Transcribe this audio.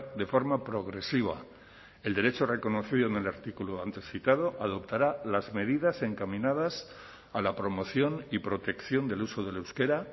de forma progresiva el derecho reconocido en el artículo antes citado adoptará las medidas encaminadas a la promoción y protección del uso del euskera